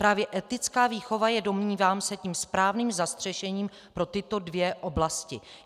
Právě etická výchova je, domnívám se, tím správným zastřešením pro tyto dvě oblasti.